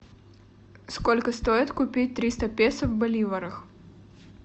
сколько стоит купить триста песо в боливарах